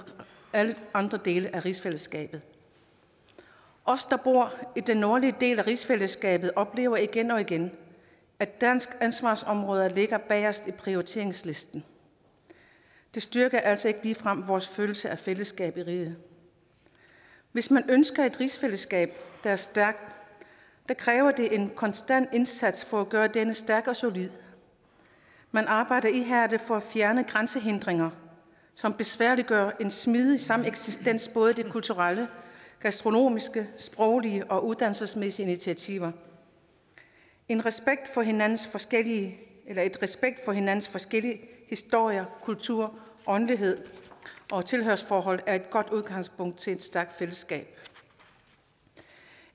alle andre dele af rigsfællesskabet os der bor i den nordlige del af rigsfællesskabet oplever igen og igen at de danske ansvarsområder ligger bagest i prioriteringslisten det styrker altså ikke ligefrem vores følelse af fællesskab i riget hvis man ønsker et rigsfællesskab der er stærkt kræver det en konstant indsats for at gøre dette stærkt og solidt man arbejder ihærdigt for at fjerne grænsehindringer som besværliggør en smidig sameksistens både de kulturelle gastronomiske sproglige og uddannelsesmæssige initiativer en respekt for hinandens forskellige hinandens forskellige historie kultur åndelighed og tilhørsforhold er et godt udgangspunkt til et stærkt fællesskab